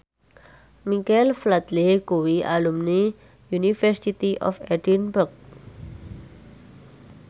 Michael Flatley kuwi alumni University of Edinburgh